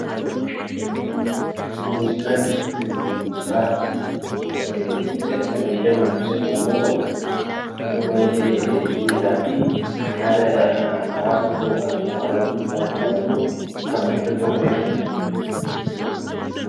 Muuziqaa jechuun gosa aartii muuziqaalee fayyadamuun yoo ta'u, yeroo baayyee miiraa fi haala hawaasa tokkoo kan nama dhuunfaa yookiin immoo kan biyya tokkoo kan ibsudha.